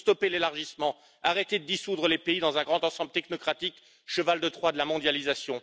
Il faut stopper l'élargissement, arrêter de dissoudre les pays dans un grand ensemble technocratique, cheval de Troie de la mondialisation.